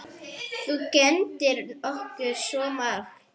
Þú kenndir okkur svo margt.